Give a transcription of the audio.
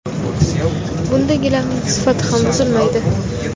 Bunda gilamning sifati ham buzilmaydi.